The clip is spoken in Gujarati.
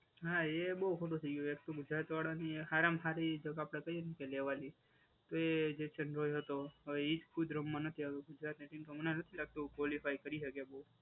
હા એ બહુ ખોટું થઈ ગયું. એક તો ગુજરાત વાળાની હારામાં હારી જગા આપડે કહીએ કે લેવાની. તો એ જે ચેન્નઈ હતો હવે એ જ ખુદ રમવા નથી આવ્યો ગુજરાત હમણાં નથી લાગતું ક્વોલિફાઈ કરી શકે બહુ.